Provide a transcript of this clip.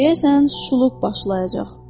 Deyəsən, şuluqluq başlayacaq.